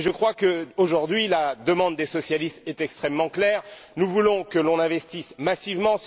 Je crois qu'aujourd'hui, la demande des socialistes est extrêmement claire nous voulons que l'on investisse massivement.